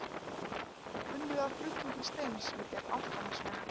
Unnið að flutning steins við gerð Álftanesvegar.